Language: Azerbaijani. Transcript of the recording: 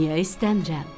Niyə istəmirəm?